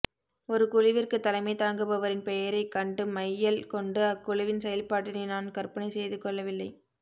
ஒரு குழுவிற்கு தலைமைத் தாங்குபவரின் பெயரைக் கண்டு மையல் கொண்டு அக்குழுவின் செயல்பாட்டினை நான் கற்பனை செய்து கொள்ளவில்லை